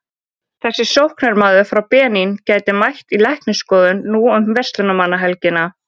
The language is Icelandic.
Þessi sóknarmaður frá Benín gæti mætt í læknisskoðun nú um verslunarmannahelgina.